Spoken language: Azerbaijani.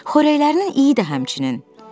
Xörəklərinin iyi də həmçinin.